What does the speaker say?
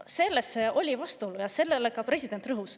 Selles seisnes vastuolu ja sellele rõhus ka president.